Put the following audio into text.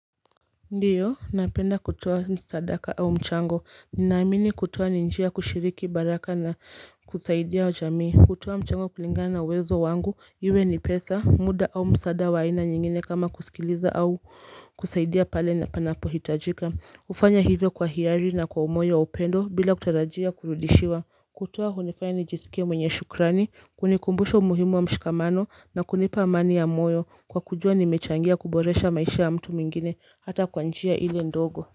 Ndio, napenda kutoa msadaka au mchango, ninaamini kutoa ni njia ya kushiriki baraka na kusaidia jamii kutoa mchango kulingana na uwezo wangu, iwe ni pesa, muda au msaada wa aina nyingine kama kusikiliza au kusaidia pale na panapo hitajika hufanya hivyo kwa hiari na kwa umoyo wa upendo bila kutarajia kurudishiwa kutoa hunifanya nijisikie mwenye shukrani, kunikumbusha umuhimu wa mshikamano na kunipa amani ya moyo kwa kujua nimechangia kuboresha maisha ya mtu mwingine hata kwa njia ili ndogo.